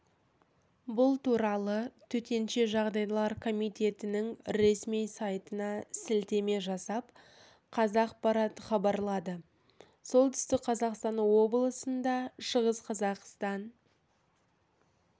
бұл туралы төтенше жағдайлар комитетінің ресми сайтына сілтеме жасап қазақпарат хабарлады солтүстік қазақстан облысында шығыс қазақстан